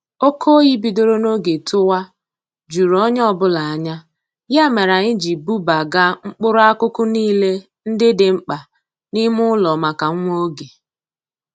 Oke oyi bidoro n'oge tụwa juru onye ọbụla anya, ya mere anyị ji bubaga mkpụrụ akụkụ niile ndị dị mkpa n'ime ụlọ maka nwa oge